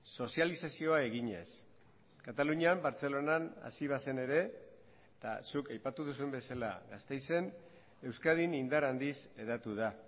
sozializazioa eginez katalunian bartzelonan hasi bazen ere eta zuk aipatu duzun bezala gasteizen euskadin indar handiz hedatu da